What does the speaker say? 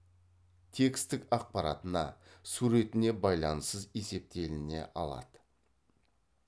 тексттік ақпаратына суретіне байланассыз есептеліне алады